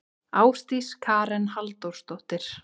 Ásdís Karen Halldórsdóttir.